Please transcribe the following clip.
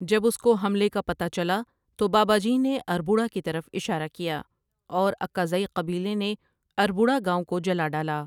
جب اسکو حملے کا پتہ چلا تو باباجی نے اربوڑہ کی طرف اشارہ کیا اور اکاذی قبیلے نے اربوڑہ گاوں کو جلا ڈالا